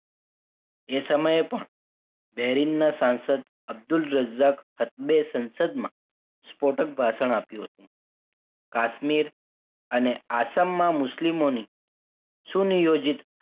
એ સમયે પણ બેરિંગના સંસદ અબ્દુલ રજાક રજાક અપતે સંસદમાં વિસ્ફોટક ભાષણ આપ્યું હતું કાશ્મીર અને આસામમાં મુસ્લિમ સુનિયોજિત